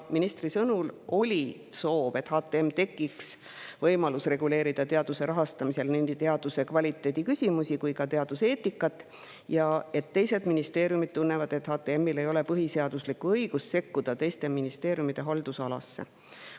Ministri sõnul oli soov, et HTM‑ile tekiks võimalus reguleerida teaduse rahastamisel nii teaduse kvaliteedi küsimusi kui ka teaduseetikat, aga teised ministeeriumid tunnevad, et HTM-il ei ole põhiseaduslikku õigust sekkuda teiste ministeeriumide haldusalasse.